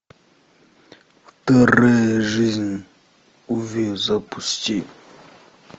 вторая жизнь уве запусти